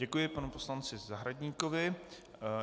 Děkuji panu poslanci Zahradníkovi.